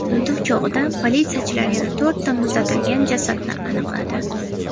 Tintuv chog‘ida politsiyachilar yana to‘rtta muzlatilgan jasadni aniqladi.